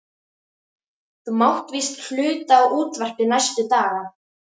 Þú mátt víst hluta á útvarpið næstu daga.